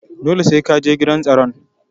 Dole sai Kaje gidan tsaron.